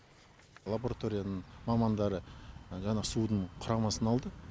лабораторияның мамандары жаңағы судың құрамасын алды